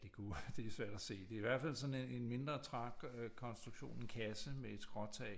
Det kunne det er svært at se det er i hvert fald sådan en mindre trang kontruktion en kasse med et skråtag